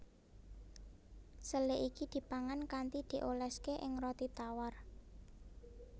Sele iki dipangan kanthi dioléské ing roti tawar